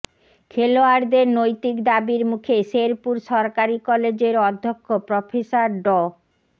খেলোয়াড়দের নৈতিক দাবির মুখে শেরপুর সরকারি কলেজের অধ্যক্ষ প্রফেসর ড